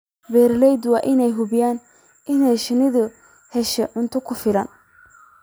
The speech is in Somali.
Beeralayda waa inay hubiyaan in shinnidu hesho cunto ku filan.